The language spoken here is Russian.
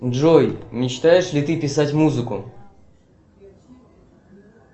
джой мечтаешь ли ты писать музыку